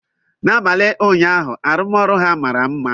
N'abalị ụnyaahụ, arụmọrụ ha mara mma.